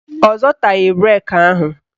Ọ zọtaghị breki ahụ